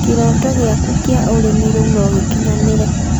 Kĩrooto gĩaku kĩa ũrĩmi rĩu no gĩkinyanĩre